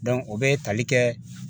o bɛ tali kɛ